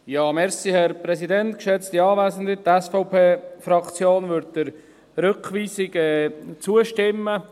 Die SVP-Fraktion würde der Rückweisung zustimmen.